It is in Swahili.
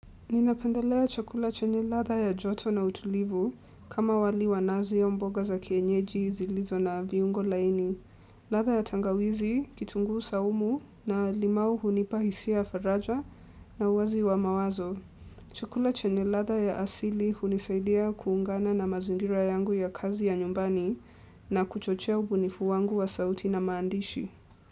Ninapendelea chakula chenye ladha ya joto na utulivu kama wali wa nazi au mboga za kienyeji zilizo na viungo laini. Ladha ya tangawizi, kitunguu saumu na limau hunipa hisia ya faraja na uwazi wa mawazo. Chakula chenye ladha ya asili hunisaidia kuungana na mazingira yangu ya kazi ya nyumbani na kuchochea ubunifu wangu wa sauti na maandishi.